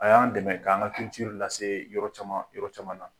A y'an dɛmɛ k'an ka lase yɔrɔ caman yɔrɔ caman na.